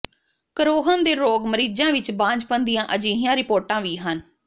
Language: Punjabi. ਕਰੋਹਨ ਦੇ ਰੋਗ ਮਰੀਜ਼ਾਂ ਵਿੱਚ ਬਾਂਝਪਨ ਦੀਆਂ ਅਜਿਹੀਆਂ ਰਿਪੋਰਟਾਂ ਵੀ ਹਨ